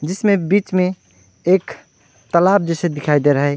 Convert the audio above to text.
जिसमें बीच में एक तालाब जैसे दिखाई दे रहा है।